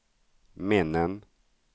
minnen